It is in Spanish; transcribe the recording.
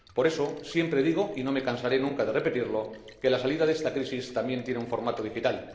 Por eso, siempre digo, y no me cansaré nunca de repetirlo, que la salida de esta crisis también tiene un formato digital.